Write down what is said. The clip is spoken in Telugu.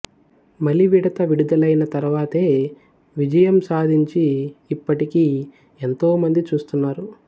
మలివిడత విడుదలైన తర్వాతే విజయం సాధించి ఇప్పటికీ ఎంతో మంది చూస్తున్నారు